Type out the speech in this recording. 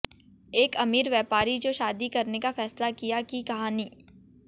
एक अमीर व्यापारी जो शादी करने का फैसला किया की कहानी